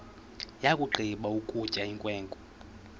yakugqiba ukutya inkwenkwe